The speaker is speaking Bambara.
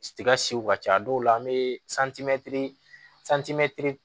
Tiga si ka ca a dɔw la an bɛ